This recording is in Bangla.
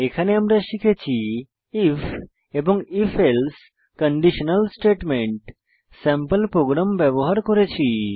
এখানে আমরা শিখেছি আইএফ এবং if else conditional statement sample program ব্যবহার করেছি